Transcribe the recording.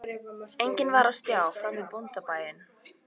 Enginn var á stjái framan við bóndabæinn